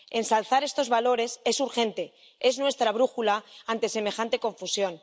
Ensalzar estos valores es urgente, es nuestra brújula ante semejante confusión.